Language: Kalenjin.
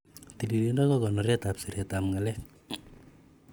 Tililindo ak konoret ab siretab ng'alek.